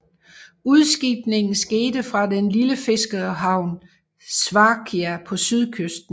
Udskibningen skete fra den lille fiskerhavn Sfakia på sydkysten